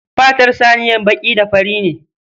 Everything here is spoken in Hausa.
Fatar saniyar baƙi da fari ne.